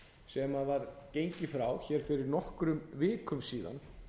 sem var gengið frá hér fyrir nokkrum vikum síðan